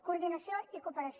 coordinació i cooperació